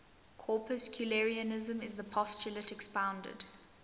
corpuscularianism is the postulate expounded